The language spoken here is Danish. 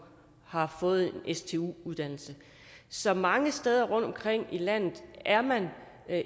har fået en stu uddannelse så mange steder rundtomkring i landet er man